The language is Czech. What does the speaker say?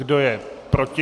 Kdo je proti?